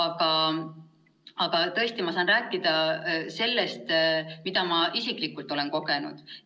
Ma saan tõesti rääkida ainult sellest, mida ma isiklikult olen kogenud.